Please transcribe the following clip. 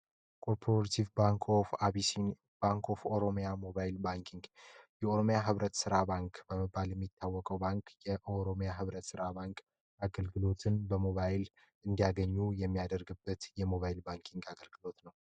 Coppership bank of abyssin bank of oromia mobile banking oromia ስራ ባንክ ባል የሚታወቀው ባንክ ኦሮሚያ ህብረት ስራ ባንክ አገልግሎትን በሞባይል እንዲያገኙ የሚያደርግበት የሞባይል ባንኪንግ አገልግሎት ነው